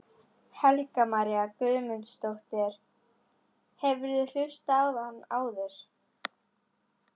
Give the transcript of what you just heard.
Helga María Guðmundsdóttir: Hefurðu hlustað á hann áður?